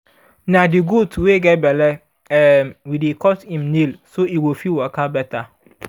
na the goat wey get belle um we dey cut im nail so e go fit waka better